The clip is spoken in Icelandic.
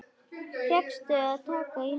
Fékkstu að taka í hana?